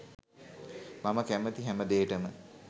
මම කැමති හැමදේටම